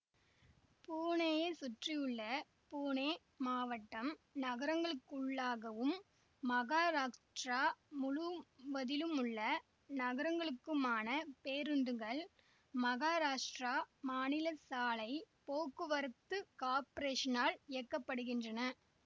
பூனேயை சுற்றியுள்ள பூனே மாவட்ட நகரங்களுக்குள்ளாகவும் மகாராஷ்டிரா முழுவதிலுமுள்ள நகரங்களுக்குமான பேருந்துகள் மகாராஷ்டிரா மாநில சாலை போக்குவரத்து காப்ரேஷனால் இயக்க படுகின்றன